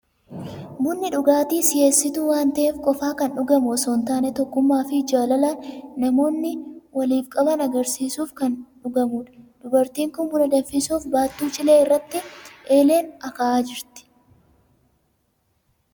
Bunni dhugaatii si'eessituu waan ta'eef qofaa kan dhugamu osoo hin taane, tokkummaa fi jaalala namoonni waliif qaban agarsiisuuf kan danfudja. Dubartiin kun buna danfisuuf baattuu cilee irratti eeleen akaa'aa jirti.